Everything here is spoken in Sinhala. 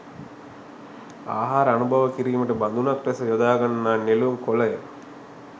ආහාර අනුභව කිරීමට බඳුනක් ලෙස යොදාගන්නා නෙළුම් කොළය